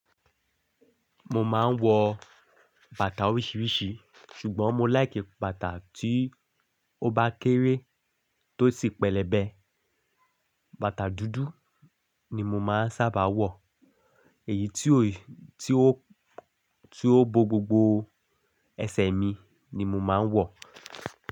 Mo máa ń wọ bàtà oríṣiríṣi ṣùgbọ́n mo like bàtà tí ó bá kéré tó sì pẹlẹbẹ. Bàtà dúdú ni mo máa ń sábà wọ èyí tí ó, tí ó, tí ó bo gbogbo ẹsẹ̀ mi ni mo máa ń wọ.